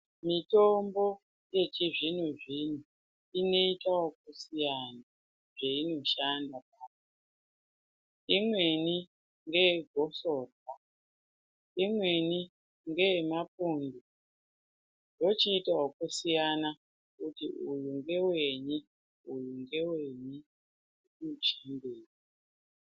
Mitombo yechizvinozvino inoita wokusiyana zveinoshanda imweni ngeegosorwa ,imweni ngeemapundu wochiita wakasiyana kuti uyu ngwenyi, uyu ngewenyi.